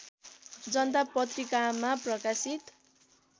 जनता पत्रिकामा प्रकाशित